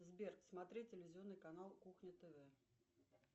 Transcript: сбер смотреть телевизионный канал кухня тв